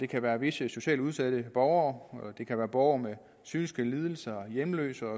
kan være visse socialt udsatte borgere det kan være borgere med psykiske lidelser hjemløse